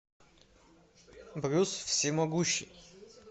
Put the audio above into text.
брюс всемогущий